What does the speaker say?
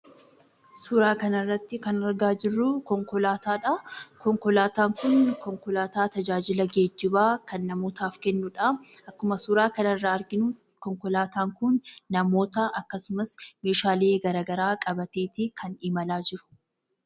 Suuraa kanarratti kan argaa jirru konkolaataadha. Konkolaataan kun konkolaataa tajaajila geejjibaa kan namootaaf kennudha. Akkuma suuraa kanarraa arginu konkolaataan kun namoota akkasumas meeshaalee garagaraa qabateeti kan imalaa jiru.